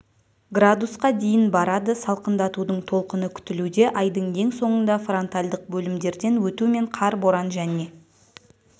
градусқа дейін барады салқындатудың толқыны күтілуде айдың ең соңында фронтальдық бөлімдерден өтумен қар боран және